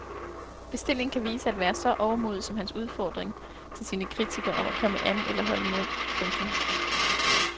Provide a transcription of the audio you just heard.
Bestillingen kan vise at være så overmodig som hans udfordring til sine kritikere om at komme an eller holde mund. punktum